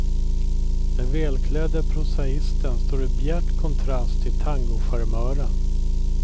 Den välklädde prosaisten står i bjärt kontrast till tangocharmören.